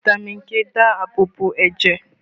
Fitami k ń dáàbò bo ẹ̀jẹ̀